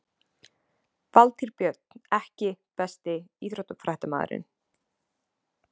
Valtýr Björn EKKI besti íþróttafréttamaðurinn?